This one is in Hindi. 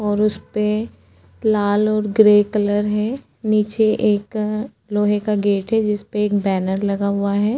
और उस पे लाल और ग्रे कलर हैं नीचे एक अ लोहे का गेट है जिस पे एक बैनर लगा हुआ है।